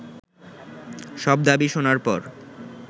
সব দাবি শোনার পর